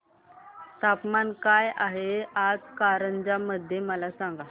तापमान काय आहे आज कारंजा मध्ये मला सांगा